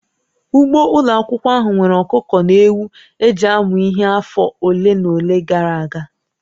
Ugbo ụlọ akwụkwọ ahụ nwere ọkụkọ na ewu e ji amụ ihe afọ ole na ole gara aga